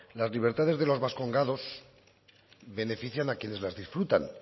las libertades de los vascongados benefician a quienes las disfrutan